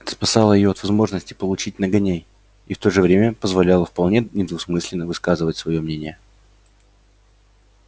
это спасало её от возможности получить нагоняй и в то же время позволяло вполне недвусмысленно высказывать своё мнение